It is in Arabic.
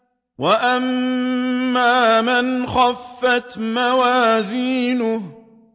وَأَمَّا مَنْ خَفَّتْ مَوَازِينُهُ